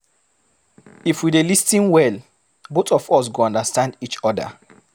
If we dey lis ten well, both of us go understand each oda.